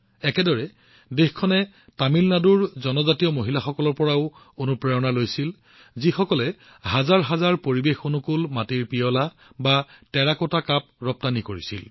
একেদৰে দেশবাসীয়ে তামিলনাডুৰ জনজাতীয় মহিলাসকলৰ পৰাও যথেষ্ট অনুপ্ৰেৰণা লাভ কৰিছিল যিয়ে হাজাৰ হাজাৰ পৰিৱেশঅনুকূল টেৰাকোটা কাপ ৰপ্তানি কৰিছিল